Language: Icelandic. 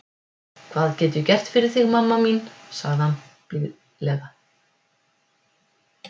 Hvað get é gert fyrir þig mamma mín, saði hann blíðlega.